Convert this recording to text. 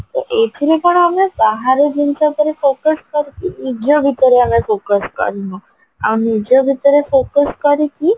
ତ ଏଇଥିରେ କଣ ଆମେ ବାହାର ଜିନିଷ ଉପରେ focus କରିକି ନିଜ ଭିତରେ ଆମେ focus କରିନୁ ଆଉ ନିଜ ଭିତରେ focus କରିକି